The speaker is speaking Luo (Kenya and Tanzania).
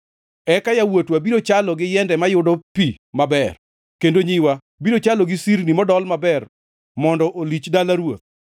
Eka yawuotwa biro chalo gi yiende mayudo pi maber, kendo nyiwa biro chalo gi sirni modol maber mondo olich dala ruoth.